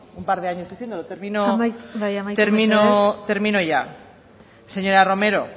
un par de años diciéndolo amaitu termino ya señora romero